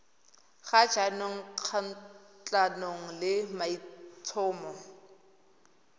ga jaanong kgatlhanong le maitlhomo